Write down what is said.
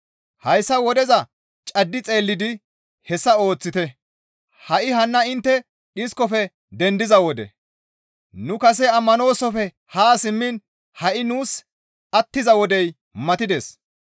Hayssa wodeza caddi xeellidi hessa ooththite; ha7i hanna intte dhiskofe dendiza wode; nu kase ammanoosofe haa simmiin ha7i nuus attiza wodey matides.